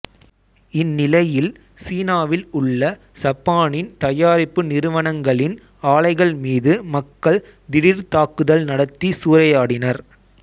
இந்நிலையில் சீனாவில் உள்ள சப்பானின் தயாரிப்பு நிறுவனங்களின் ஆலைகள் மீது மக்கள் திடீர் தாக்குதல் நடத்திச் சூறையாடினர்